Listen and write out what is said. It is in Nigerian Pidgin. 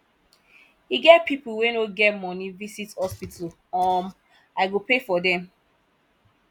e get people wey no get money visit hospital um i go pay for dem